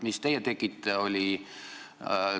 Mis aga teie tegite?